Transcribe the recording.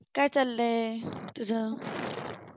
काय चाललाय तुझं